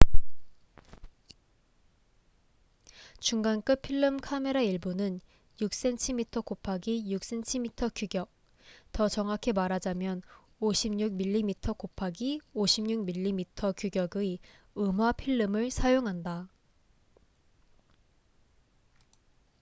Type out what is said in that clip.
중간급 필름 카메라 일부는 6cmx6cm 규격 더 정확히 말하자면 56mmx56mm 규격의 음화 필름을 사용한다